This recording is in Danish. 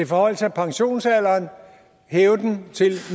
forhøjelse af pensionsalderen hæve den til